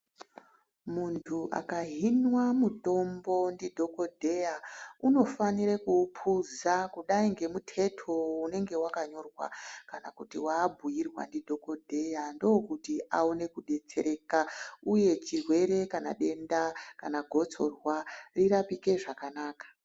Muntu aka hinwa mutombo ndi dhokodheya unofanire ku upuza kudai nge muteto unenge wakanyorwa kana kuti wa abhuyirwa ndi dhokodheya ndokuti awone kudetsereka uye chirwere kana denda kana gotsorwa ri rapike zvakanaka.